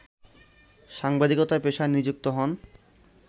সাংবাদিকতা পেশায় নিযুক্ত হন